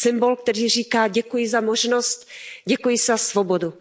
Symbol, který říká Děkuji za možnost, děkuji za svobodu.